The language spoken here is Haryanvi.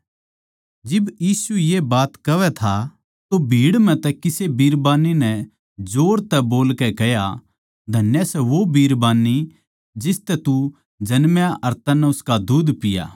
जिब यीशु ये बात कहवै था तो भीड़ म्ह तै किसे बिरबान्नी नै जोर तै बोलकै कह्या धन्य सै वो बिरबान्नी जिस तू जन्मा अर उसका तन्नै दुध पिया